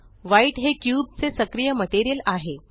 white हे cube चे सक्रिय मटेरियल आहे